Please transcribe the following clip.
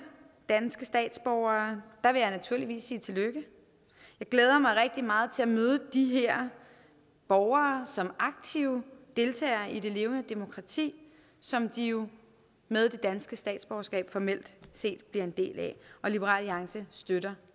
danske statsborgere vil jeg naturligvis sige tillykke jeg glæder mig rigtig meget til at møde de her borgere som aktive deltagere i det levende demokrati som de jo med det danske statsborgerskab formelt set bliver en del af liberal alliance støtter